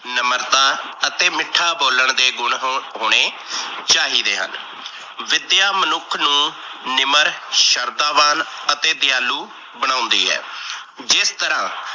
ਨਮਰਤਾ ਤੇ ਮਿੱਠਾ ਬੋਲਣ ਦੇ ਗੁਣ ਹੋਣੇ ਚਾਹੀਦੇ ਹਨ। ਵਿਦਿਆ ਮਨੁੱਖ ਨੂੰ ਨਿਮਰ ਸ਼ਰਦਾਵਾਨ ਅਤੇ ਦਿਆਲੂ ਬਣਾਉਦੀ ਹੈ। ਜਿਸ ਤਰਾਂ